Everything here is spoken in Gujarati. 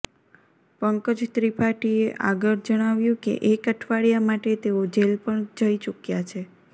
પંકજ ત્રિપાઠીએ આગળ જણાવ્યુ કે એક અઠવાડિયા માટે તેઓ જેલ પણ જઇ ચૂક્યા છે